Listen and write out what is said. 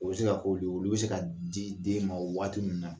O be se ka k'o don, olu be se ka di den ma waati min na